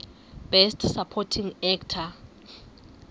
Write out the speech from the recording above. best supporting actor